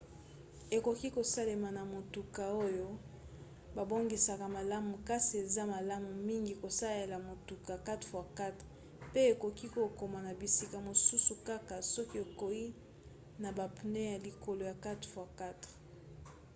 ekoki kosalema na motuka oyo babongisaka malamu kasi eza malamu mingi kosalela motuka 4x4 pe okoki kokoma na bisika mosusu kaka soki okei na bapneu ya likolo ya 4x4